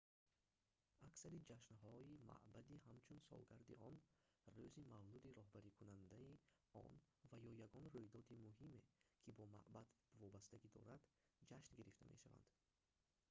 аксари ҷашнҳои маъбади ҳамчун солгарди он рӯзи мавлуди роҳбарикунандани он ва ё ягон рӯйдоди муҳиме ки бо маъбад вобастагӣ дорад ҷашн гирифта мешаванд